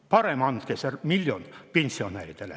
Parem andke see miljon pensionäridele.